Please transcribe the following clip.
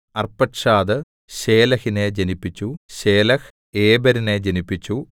Arphaxad ശേലഹിനെ ജനിപ്പിച്ചു Shelah ഏബെരിനെ ജനിപ്പിച്ചു